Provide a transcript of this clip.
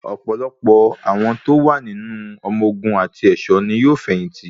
Ọ̀pọ̀lọpọ̀ àwọn tó wà nínú ọmọ ogun àti ẹ̀ṣọ́ ní yóò fẹ̀yìn tì.